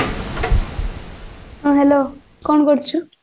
ହଁ hello କଣ କରୁଛୁ